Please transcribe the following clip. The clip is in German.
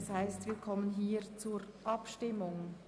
Somit kommen wir zur Abstimmung.